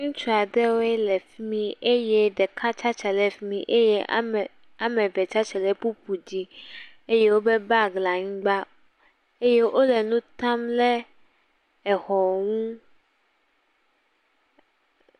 Ŋutsu aɖewo le fi mi eye ɖeka tsi atsitre le fi mi eye aem..ame eve tsi atsitre bubu dzi eye woƒe bag le anyigba eye wole nu tam le exɔ ŋu.